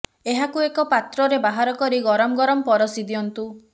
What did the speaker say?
ଏହାକୁ ଏକ ପାତ୍ରରେ ବାହାର କରି ଗରମ ଗରମ ପରଷି ଦିଅନ୍ତୁ